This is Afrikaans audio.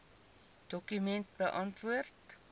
dokument beantwoord